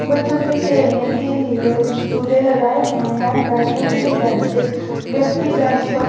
बच्चों के खेलने के लिए झूले लगाए हुए हैं बैठने के लिए बेंचेस व्यक्ति बेंच पर--